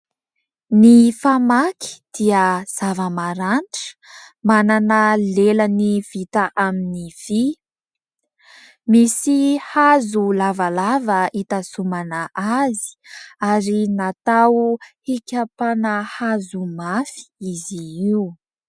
Ny famaky dia zava-maranitra, manana lelany vita amin'ny vy, misy hazo lavalava hitazomana azy, ary natao hikapana hazo mafy izy io.